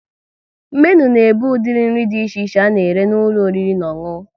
Menu na ebu udiri nri dị iche a na-ere n'ụlọ oriri na ọṅụṅụ